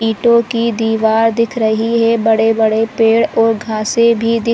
ईंटों की दीवार दिख रही है बड़े-बड़े पेड़ और घासे भी दिख --